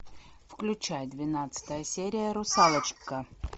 включай двенадцатая серия русалочка